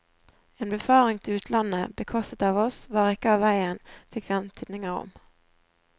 En befaring til utlandet, bekostet av oss, var ikke av veien, fikk vi antydninger om.